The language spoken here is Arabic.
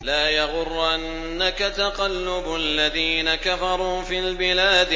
لَا يَغُرَّنَّكَ تَقَلُّبُ الَّذِينَ كَفَرُوا فِي الْبِلَادِ